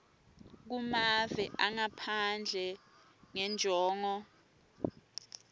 kumave angaphandle ngenjongo